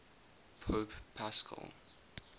pope paschal